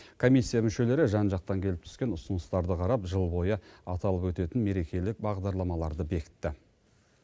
комиссия мүшелері жан жақтан келіп түскен ұсыныстарды қарап жыл бойы аталып өтетін мерекелік бағдарламаларды бекітті